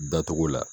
Dacogo la